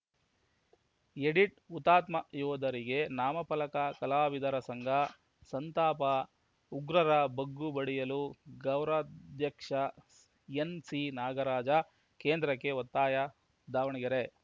edit ಹುತಾತ್ಮ ಯೋಧರಿಗೆ ನಾಮಫಲಕ ಕಲಾವಿದರ ಸಂಘ ಸಂತಾಪ ಉಗ್ರರ ಬಗ್ಗು ಬಡಿಯಲು ಗೌರವಾಧ್ಯಕ್ಷ ಎನ್‌ಸಿನಾಗರಾಜ ಕೇಂದ್ರಕ್ಕೆ ಒತ್ತಾಯ ದಾವಣಗೆರೆ